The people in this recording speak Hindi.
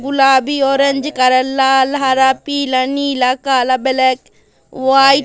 गुलाबी ऑरेंज कलर का लाल हरा पीला नीला काला ब्लैक व्हाइट --